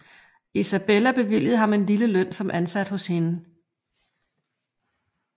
Isabella bevilligede ham en lille løn som ansat hos hende